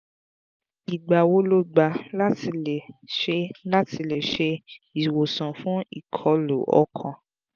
igba wo lo gba la ti le se ti le se iwosan fun ikọlu ọkan?